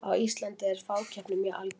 á íslandi er fákeppni mjög algeng